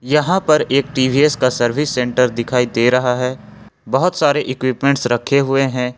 यहाँ पर एक टी_वी_एस सर्विस सेंटर दिखाई दे रहा है बहुत सारे इक्विपमेंट रखे हुए हैं।